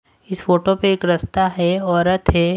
इस फोटो पे एक रास्ता है औरत है।